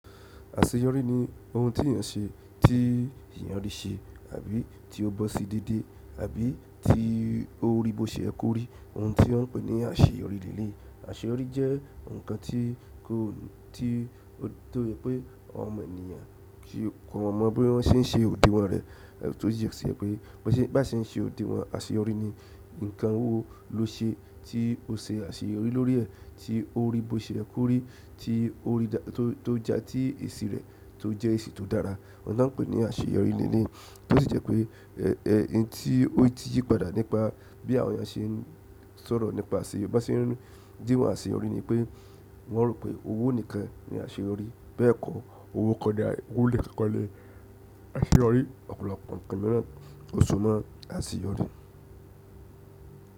Àṣeyọrí ni ohun tí èèyàn n ṣe, tí èèyàn rí ṣe àbí tí ó bọ́ sí déédé àbí tí ó rí bó ṣe jẹ kó rí, ohun tí wọ́n ń pè ní àṣeyọrí l'eléyìí. Àṣeyọrí jẹ́ ǹkan tí kò tí tó yẹ pé àwọn ọmọ ènìyàn tí kò mọ bí wọ́n n ṣe òdìwon rè, tó yẹ pé bó ṣe bá ṣe ń se òdìwọn àṣeyọrí ni. Ǹkan wó lo ṣe tí o ṣe àṣeyọrí lórí rẹ̀ tí ó rí bó ṣe jẹ kó rí tí ó rí dá tó, tó já tí èsi rẹ̀ tó jẹ́ èsì tó dára. Òun lọ́ n pè ní àṣeyọrí l'eléyìí tó sì jẹ́ pé ohun tí ó ti yí padà nípa bí àwọn èèyàn ṣe ń sọ̀rọ̀ nípa àṣeyọrí, bó ṣé ń díwọ̀n àṣeyọrí ni pé wọ́n rò pé owó nìkan ni àṣeyọrí. Bẹ́ẹ̀ kọ́ owó kọ́, owó nkan kó ni àṣeyọrí, ọ̀pọ̀lọpọ̀ ǹkan mìíràn ó so mó àṣeyọrí.